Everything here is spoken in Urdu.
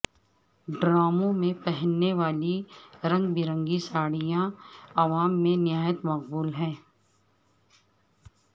ڈراموں میں پہنی جانے والی رنگ برنگی ساڑھیاں عوام میں نہایت مقبول ہیں